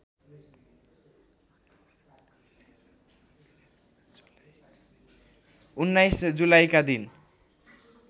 १९ जुलाईका दिन